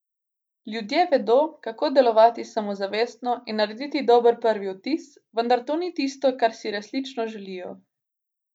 Ljudje vedo, kako delovati samozavestno in narediti dober prvi vtis, vendar to ni tisto, kar si resnično želijo.